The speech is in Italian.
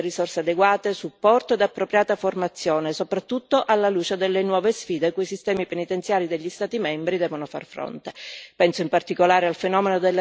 Alla polizia penitenziaria vanno garantite risorse adeguate, supporto ed appropriata formazione, soprattutto alla luce delle nuove sfide cui i sistemi penitenziari degli Stati membri devono far fronte.